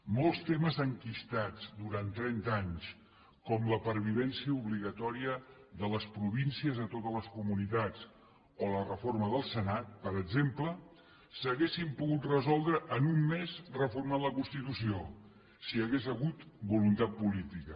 molts temes enquistats durant trenta anys com la pervivència obligatòria de les províncies a totes les comunitats o la reforma del senat per exemple s’haurien pogut resoldre en un mes reformant la constitució si hi hagués hagut voluntat política